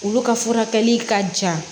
Olu ka furakɛli ka jan